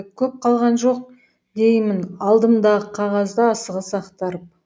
көп қалған жоқ деймін алдымдағы қағазды асығыс ақтарып